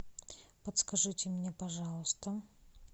подскажите мне пожалуйста